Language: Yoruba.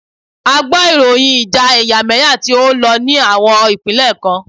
A gbọ ìròyìn ìjà ẹ̀yàmẹ́yà tí o ń lọ ní àwọn ìpínlẹ̀ kan.